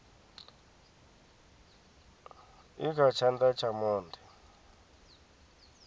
i kha tshana tsha monde